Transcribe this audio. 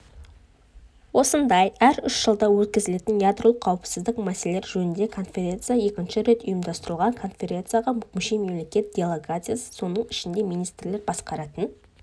осындай әр үш жылда өткізілетін ядролық қауіпсіздік мәселелері жөніндегі конференция екінші рет ұйымдастырылуда конференцияға мүше мемлекет делегациялары соның ішінде министрлер басқаратын